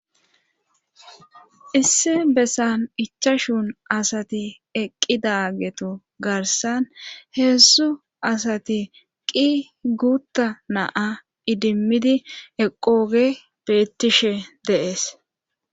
Issi bessan ichashun asati eqqidagetu garsan heessu asati qi guutta naa idimmidi eqooge bettishe deees.